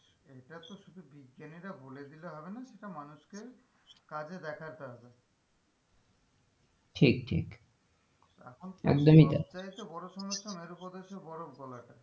এটা তো শুধু বিজ্ঞানীরা বলে দিলে হবে না সেটা মানুষকে কাজে দেখতে হবে ঠিকঠিক এখন একদমই তাই থেকে হচ্ছে বড়ো সমস্যা মেরু প্রদেশের বরফ গলাটা,